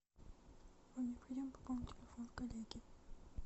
вам необходимо пополнить телефон коллеги